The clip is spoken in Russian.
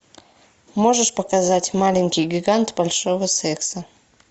можешь показать маленький гигант большого секса